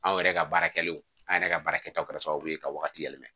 Anw yɛrɛ ka baara kɛlen an yɛrɛ ka baara kɛtaw kɛra sababu ye ka wagati yɛlɛma